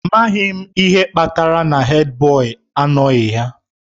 Amaghị m ihe kpatara na Hèdbọyi na-anọghị